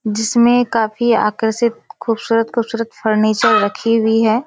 जिसमें काफी आकर्षित खूबसूरत-खूबसूरत फर्नीचर रखी हुई है।